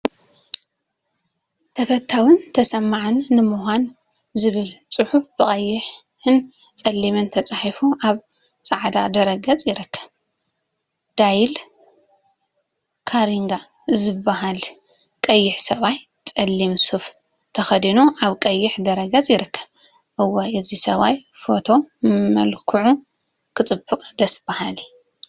“ተፈታውን ተሰማዕን ንምኳን” ዝብል ፅሑፍ ብቀይሕን ፀሊምን ተፃሒፉ አብ ፃዕዳ ድሕረ ገፀ ይርከብ፡፡ ዳይል ካርንጌ ዝበሃል ቀይሕ ሰብአይ ፀሊም ሱፍ ተከዲኑ አብ ቀይሕ ድሕረ ገፅ ይርከብ፡፡ እዋይ! ናይዚ ሰብአይ ፈቶ መልክዑ ክፅብቅ ደስ በሃሊ…